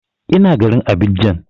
Ina garin Abidjan